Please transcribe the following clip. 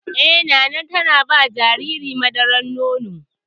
Eh, na na ma jaririn madaran nono.